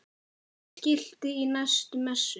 Skilti í næstu messu?